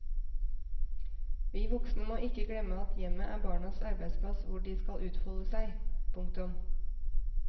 Vi voksne må ikke glemme at hjemmet er barnas arbeidsplass hvor de skal utfolde seg. punktum